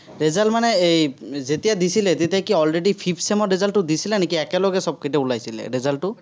result মানে এই, যেতিয়া দিছিলে, তেতিয়া কি already fifth sem ৰ result টো দিছিলে নেকি? একেলগে সৱকেইটা ওলাইছিলে, result টো